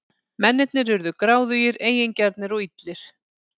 Mennirnir urðu gráðugir, eigingjarnir og illir.